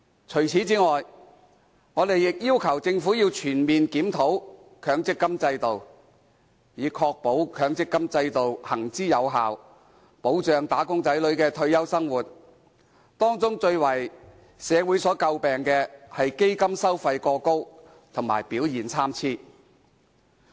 除此之外，我們亦要求政府要全面檢討強積金制度，以確保其行之有效，保障"打工仔女"的退休生活，而當中最為社會所詬病的是基金收費過高及表現參差。